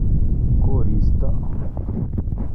Kosiirto.